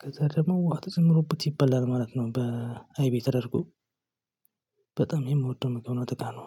ከዛ ደግሞ ውሃ ተጨምሮበት ይበላል ማለት ነው። በአይብ ተደርጎ በጣም የምወደው ምግብ ነው። አተካና